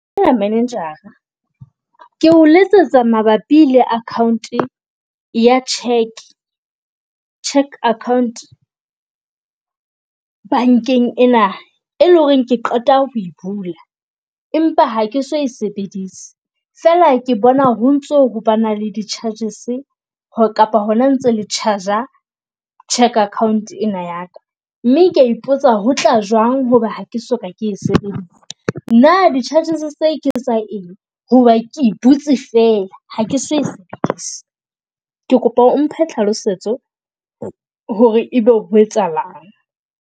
Manager-ra, ke o letsetsa mabapi le account ya cheque, cheque account bankeng ena e leng ho re ke qeta ho bula empa ha ke so e sebedisa. Fela ke bona ho ntso ho bana le di charges , kapa hona ntse le charge-a cheque account ena ya ka. Mme ke a ipotsa ho tla jwang hoba ha ke soka ke sebetse, na di charges tse ke tsa eng? Ho ba ke e butse fela, ha ke so e sebedisi. Ke kopa o mphe tlhalosetso ho re ebe ho etsahalang?